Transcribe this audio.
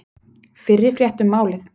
Fyrri frétt um málið